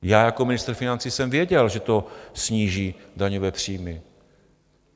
Já jako ministr financí jsem věděl, že to sníží daňové příjmy.